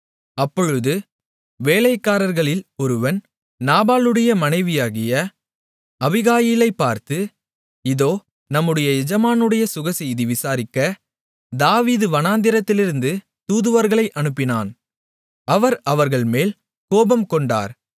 அப்பொழுது வேலைக்காரர்களில் ஒருவன் நாபாலுடைய மனைவியாகிய அபிகாயிலைப் பார்த்து இதோ நம்முடைய எஜமானுடைய சுகசெய்தியை விசாரிக்க தாவீது வனாந்திரத்திலிருந்து தூதுவர்களை அனுப்பினான் அவர் அவர்கள்மேல் கோபம்கொண்டார்